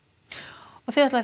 og þið ætlið